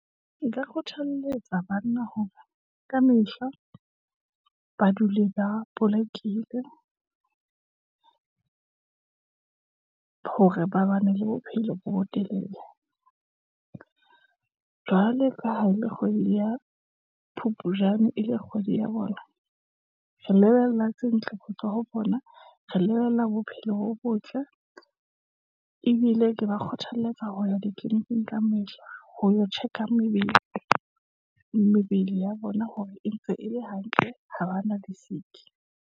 Nka kgothaletsa banna hore kamehla, ba dule ba bolokile hore ba bane le bophelo bo bo telele. Jwale ka ha e le kgwedi ya Phupujane e le kgwedi ya bona, re lebelle tse ntle ho tswa ho bona, re lebella bophelo bo botle, ebile ke ba kgothalletsa ho ya ditleleniking ka mehla. Ho yo check-a mebele ya bona, hore e ntse e le hantle, ha ba na di-sick-i.